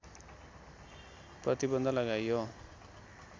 प्रतिबन्ध लगाइयो